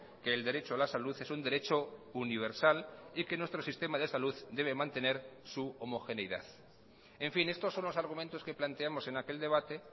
que el derecho a la salud es un derecho universal y que nuestro sistema de salud debe mantener su homogeneidad en fin estos son los argumentos que planteamos en aquel debate